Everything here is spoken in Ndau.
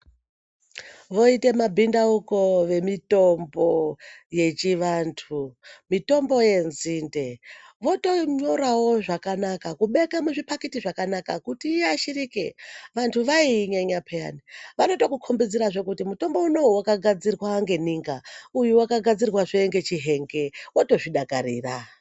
Voite mabhindauko vemitombo yechivantu, mitombo yenzinde. Votonyorawo zvakanaka kubeke muzvipakiti zvakanaka kuti iashirike. Vantu vaiinyenya peyani vano tokukombidzirazve kuti mutombo unowu wakagadzirwa ngeninga, uyu waka gadzirwazve ngechihenge, wotozvidakarira.